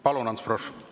Palun, Ants Frosch!